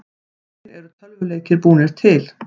Hvernig eru tölvuleikir búnir til?